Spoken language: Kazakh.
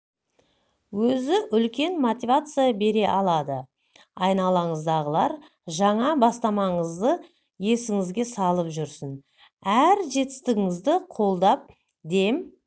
өзі үлкен мотивация бере алады айналаныңыздағылар жаңа бастамаңызды есіңізге салып жүрсін әр жетістігіңізді қолдап дем